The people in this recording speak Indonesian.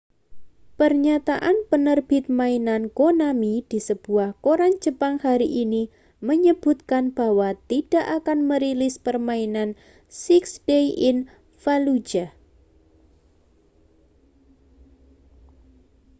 pernyataan penerbit mainan konami di sebuah koran jepang hari ini menyebutkan bahwa tidak akan merilis permainan six days in fallujah